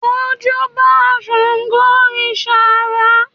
ó júbà sángo òrìṣà àrá